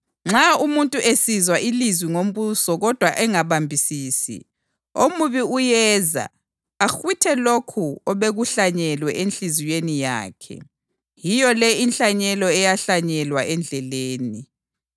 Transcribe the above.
Nxa umuntu esizwa ilizwi ngombuso kodwa engabambisisi, omubi uyeza ahwithe lokho obekuhlanyelwe enhliziyweni yakhe. Yiyo le inhlanyelo eyahlanyelwa endleleni.